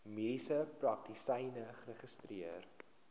mediese praktisyn geregistreer